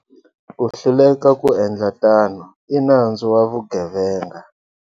Ku hluleka ku endla tano i nandzu wa vugevenga.